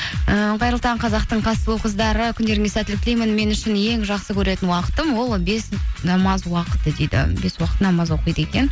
ііі қайырлы таң қазақтың қас сұлу қыздары күндеріңізге сәттілік тілеймін мен үшін ең жақсы көретін уақытым ол бес намаз уақыты дейді бес уақыт намаз оқиды екен